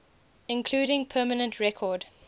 including permanent record